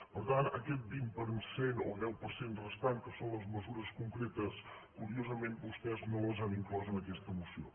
per tant aquest vint per cent o deu per cent restant que són les mesures concretes curiosament vostès no les han inclòs en aquesta moció